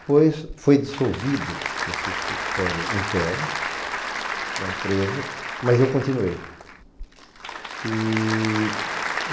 Depois foi dissolvido esse escritório interno da empresa, mas eu continuei.